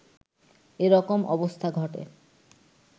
এ রকম অবস্থা ঘটে